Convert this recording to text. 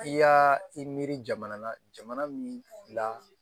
I y'aa i miiri jamana min na